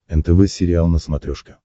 нтв сериал на смотрешке